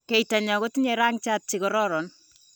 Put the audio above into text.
Keitanyo kotinyei rangiat chikororon.